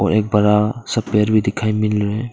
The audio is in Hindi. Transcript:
और एक बड़ा सा पेड़ भी दिखाई मिल रहे है।